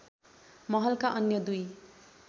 महलका अन्‍य दुई